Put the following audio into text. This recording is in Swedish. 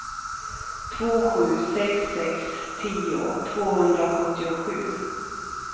två sju sex sex tio tvåhundrasjuttiosju